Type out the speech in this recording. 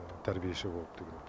тәрбиеші болып деген